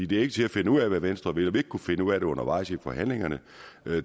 det er ikke til at finde ud af hvad venstre vil og finde ud af det undervejs i forhandlingerne